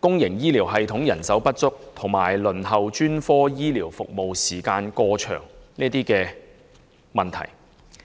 公營醫療系統人手不足及輪候專科醫療服務時間過長的問題"。